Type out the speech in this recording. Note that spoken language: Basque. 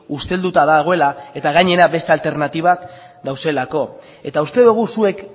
ustelduta dagoela eta gainera beste alternatibak daudelako eta uste dugu zuek